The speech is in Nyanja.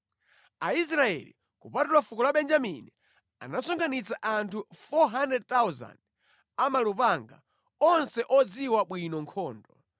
Aisraeli, kupatula fuko la Benjamini, anasonkhanitsa anthu 400,000 a malupanga, onse odziwa bwino nkhondo.